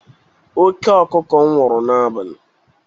Oke ọkụkụ m nwụrụ n'abali.